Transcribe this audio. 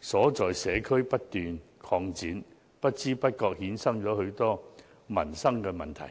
所在社區不斷擴展，不知不覺衍生許多民生問題。